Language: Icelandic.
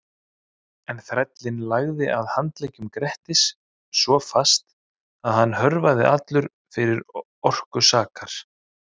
En þrællinn lagði að handleggjum Grettis svo fast að hann hörfaði allur fyrir orku sakar.